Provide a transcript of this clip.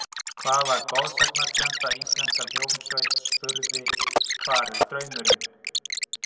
Hvaða goðsagnakennda íslenska hljómsveit spurði Hvar er draumurinn?